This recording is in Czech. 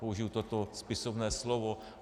Použiji toto spisovné slovo.